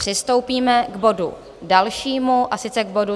Přistoupíme k bodu dalšímu, a sice k bodu